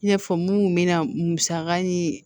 I n'a fɔ mun kun bɛ na musaka ni